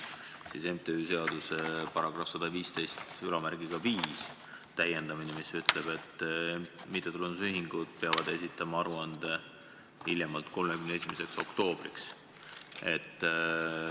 MTÜ-de seaduse § 1115 täiendus ütleb, et mittetulundusühingud peavad esitama aruande hiljemalt 31. oktoobriks.